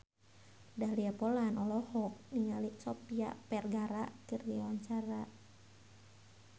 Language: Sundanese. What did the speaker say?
Dahlia Poland olohok ningali Sofia Vergara keur diwawancara